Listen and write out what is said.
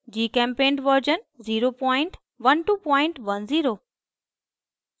gchempaint version 01210